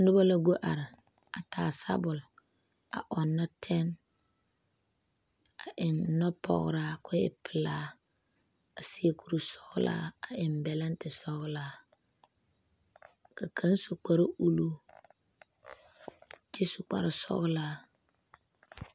Noba la go are a taa sabɔl a ɔnnɔ tɛne a eŋ nɔpɔgeraa ka o e pelaa a seɛ kuri sɔgelaa a eŋ bɛlente sɔgelaa ka kaŋ su kparre uluu kyɛ su kparre sɔgelaa